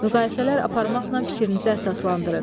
Müqayisələr aparmaqla fikrinizi əsaslandırın.